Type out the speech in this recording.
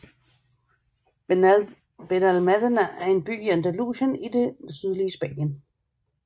Benalmádena er en by i Andalusien i det sydlige Spanien